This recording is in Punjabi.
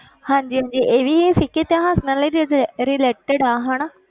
ਹਾਂਜੀ ਹਾਂਜੀ ਇਹ ਵੀ ਸਿੱਖ ਇਤਿਹਾਸ ਨਾਲ ਹੀ ਇਹ related ਆ ਹਨਾ,